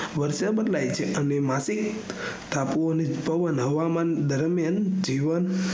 વર્ષ માં બદલાય છે અને માટે ટાપુઓનો પવન હવામાન દરમિયાન જીવન